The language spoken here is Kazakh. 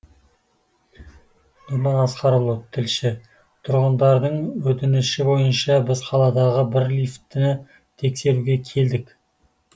нұрлан асқарұлы тілші тұрғындардың өтініші бойынша біз қаладағы бір лифтіні тексеруге келдік